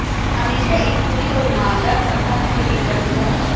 हमेशा एक खुली और ईमानदार संबंध के लिए प्रतिबद्ध